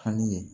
Hami ye